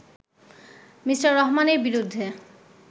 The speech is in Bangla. মি. রহমানের বিরুদ্ধে